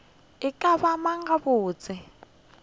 e ka ba mang gabotse